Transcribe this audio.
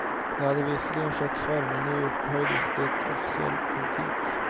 Det hade visserligen skett förr, men nu upphöjdes det till officiell politik.